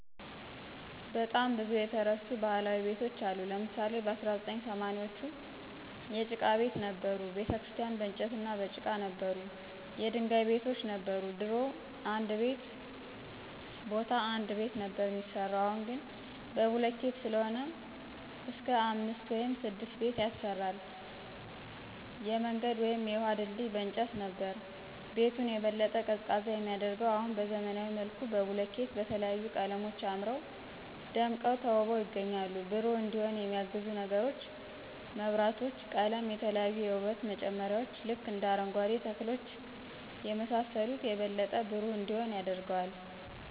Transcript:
በጣም ብዙ የተረሱ ባህላዊ ቤቶች አሉ ለምሳሌ በ1980ዎቹ የጭቃ ቤት ነበሩ፣ ቤተክርስቲያን በንጨትና በጭቃ ነበሩ፣ የድንጋይ ቤቶች ነበር፣ ድሮ እንድ ቤ ቦታ አንድ ቤት ነበር ሚያሰራው አሁን ግን በቡልኬት ሰለሆነ እስክ አምስት ውይም ስድስት ቤት ያሰራል፣ የምንገድ ውይም የውሀ ድልድይ በእንጨት ነበር። ቤቱን የበለጠ ቀዝቃዛ የሚያደርገው አሁን በዘመናዊ መልኩ በቡልኬት በተለያዩ ቀለሞች አምረው ደምቀው ተውበው ይገኛሉ። ብሩህ እንዲሆን የሚያግዙ ነገሮች መብራቶች፣ ቀለም፣ የተለያዩ የውበት መጨመርያዎች ልክ እንደ አረንጓኬ ተክሎች የመሳሰሉት የበለጠ ብሩህ እንዲሆን ያደርገዋል።